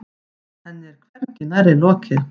Henni er hvergi nærri lokið.